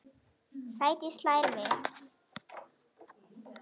Sædís hlær við.